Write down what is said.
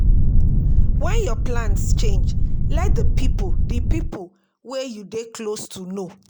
When your plans change, let di pipo di pipo wey you dey close to know